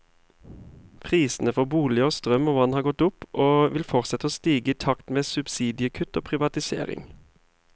Prisene for boliger, strøm og vann har gått opp, og vil fortsette å stige i takt med subsidiekutt og privatisering.